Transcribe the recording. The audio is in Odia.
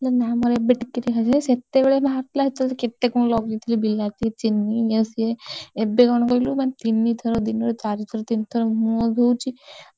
ନା, ନା ମୋର ଏବେ ଟିକେ ଟିକେ ହେଇଥିଲା ସେତେବେଳେ ବାହାରିଥିଲା, ସେତେବେଳେ କେତେ କଣ ଲଗେଇଥିଲି, ବିଲାତି, ଚିନି ଇଏ ସିଏ ଏବେ କଣ କହିଲୁ ମାନେ ତିନିଥର ଦିନରେ ଚାରିଥରତିନିଥର ମୁହଁ ଧୋଉଛି